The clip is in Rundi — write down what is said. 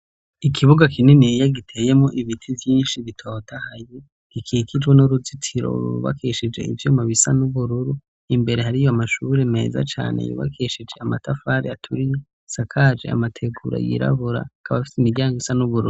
Ikibuga kininiya giteyemwo ibiti vyinshi, bitotahaye bikikijwe n'uruzitiro rwubakishije ivyuma bisa n'ubururu, imbere hariyo amashuri meza cane yubakishije amatafari aturiye, asakaje amategura yirabura, akaba afise imiryango isa n'ubururu.